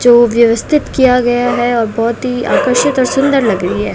जो व्यवस्थित किया गया है और बहोत ही आकर्षित और सुंदर लग रही है।